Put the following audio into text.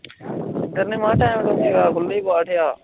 ਗੰਨੇ ਮਾ ਟੈਮ ਨੀ ਹੈਗਾ ਗੁੱਲੀ ਪਾਠੇਯਾ